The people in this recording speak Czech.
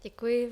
Děkuji.